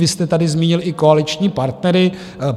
Vy jste tady zmínil i koaliční partnery.